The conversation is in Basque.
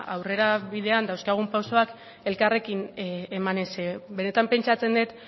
aurrera bidean dauzkagun pausoak elkarrekin emanez benetan pentsatzen dut